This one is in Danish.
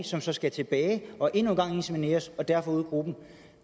som så skal tilbage og endnu en gang insemineres og derfor ud af gruppen